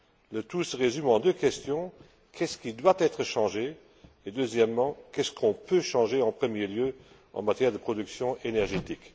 Le tout se résume en deux questions qu'est ce qui doit être changé et, deuxièmement, qu'est ce qu'on peut changer en premier lieu en matière de production énergétique?